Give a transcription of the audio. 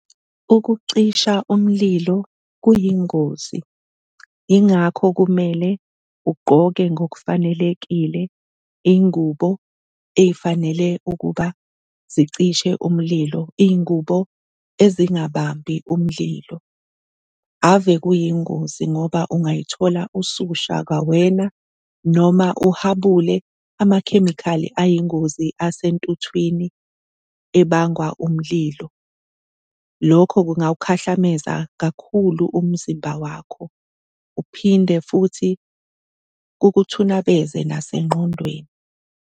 Ukucisha umlilo kuyingozi, yingakho kumele ugqoke ngokufanelekile iy'ngubo ey'fanele ukuba zicishe umlilo, iy'ngubo ezingabambi umlilo. Ave kuyingozi ngoba ungay'thola ususha kwawena noma uhabule amakhemikhali ayingozi asentuthwini ebangwa umlilo. Lokho kungawukhahlameza kakhulu umzimba wakho, uphinde futhi kukuthunabeze nasengqondweni.